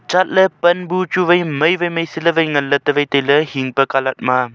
chatley pan bu chu wai mai wai mai se ley wai nganley ta wai tailey hing pe colour ma.